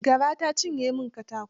Gara ta cinye min katako.